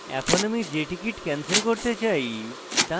এখন আমি যে টিকিট cancel করতে চাই so নির্বাচন করি